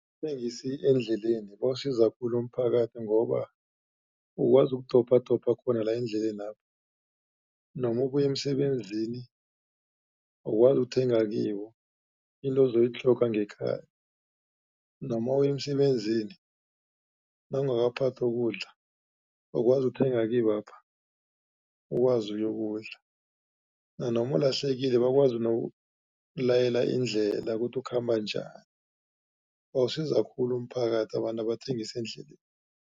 Abathengisi endleleni bawusiza khulu umphakathi, ngoba ukwazi ukudobhadobha khona la endlelena. Noma ubuya emsebenzini ukwazi ukuthenga kibo into ozoyitlhoga ngekhaya, noma uya emsebenzini nawungakaphathi ukudla ukwazi ukuthenga kibapha, ukwazi uyokudla. Nanoma ulahlekile bakwazi nokukulayela indlela kuthi ukhamba njani. Bawusiza khulu umphakathi abantu abathengisa endleleni.